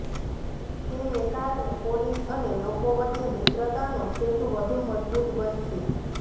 તેને કારણે પોલીસ અને લોકો વચ્ચે મિત્રતાનો સેતુ વધુ મજબૂત બનશે